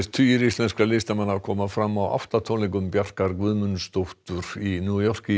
tugir íslenskra listamanna koma fram á átta tónleikum Bjarkar Guðmundsdóttir í New York